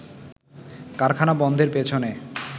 কারখানা বন্ধের পেছনে